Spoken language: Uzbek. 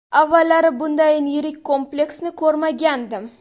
Avvallari bundayin yirik kompleksni ko‘rmagandim.